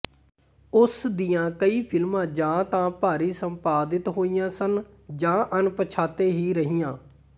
ਉਸ ਦੀਆਂ ਕਈ ਫਿਲਮਾਂ ਜਾਂ ਤਾਂ ਭਾਰੀ ਸੰਪਾਦਿਤ ਹੋਈਆਂ ਸਨ ਜਾਂ ਅਣਪਛਾਤੇ ਹੀ ਰਹੀਆਂ